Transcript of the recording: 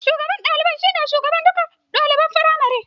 Shugaban ɗalibai shi ne shugaban dukkan ɗaliban firamare